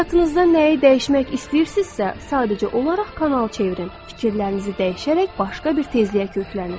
Həyatınızda nəyi dəyişmək istəyirsinizsə, sadəcə olaraq kanal çevirin, fikirlərinizi dəyişərək başqa bir tezliyə köklənin.